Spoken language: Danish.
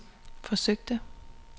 forsøgte